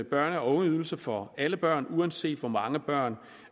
børne og ungeydelse for alle børn uanset hvor mange børn